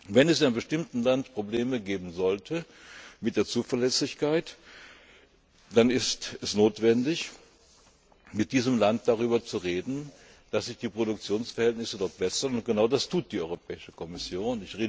Wenn es in einem bestimmten Land Probleme mit der Zuverlässigkeit geben sollte, dann ist es notwendig, mit diesem Land darüber zu reden, dass sich die Produktionsverhältnisse dort bessern. Und genau das tut die Europäische Kommission.